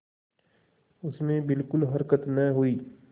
उसमें बिलकुल हरकत न हुई